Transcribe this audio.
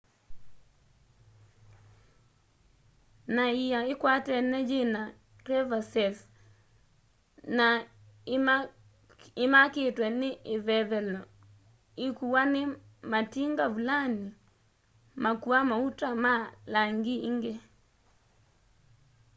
ni ia ikwatene yina crevasses na imakitwe ni ivevelo ikuwa ni matinga vulani makua mauta na mali ingi